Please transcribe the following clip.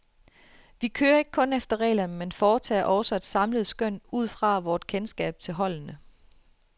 Vi kører ikke kun efter reglerne, men foretager også et samlet skøn udfra vort kendskab til holdene.